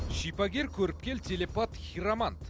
шипагер көріпкел телепат хиромант